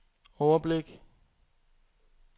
overblik